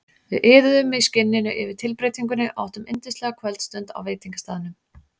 Við iðuðum í skinninu yfir tilbreytingunni og áttum yndislega kvöldstund á veitingastaðnum.